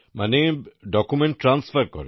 মানে document transfer করেন